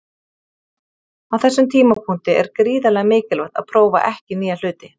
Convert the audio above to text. Á þessum tímapunkti er gríðarlega mikilvægt að prófa ekki nýja hluti.